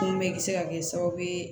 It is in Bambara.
bɛɛ bi se ka kɛ sababu ye